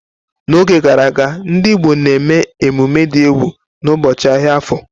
N'oge gara aga, ndị Igbo na-eme emume dị egwu n'ụbọchị ahịa Afo.